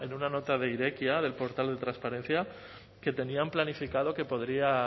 una nota de irekia del portal de transparencia que tenían planificado que podría